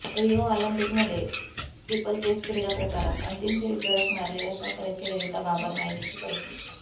Rio ऑलिम्पिकमध्ये steeplechase क्रीडा प्रकारात अंतिम फेरीत धडक मारलेल्या साताऱ्याची ललिता बाबर मायदेशी परतली